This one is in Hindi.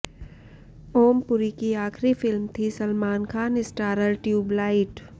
ओम पुरी की आखिरी फिल्म थी सलमान खान स्टारर ट्यूबलाइट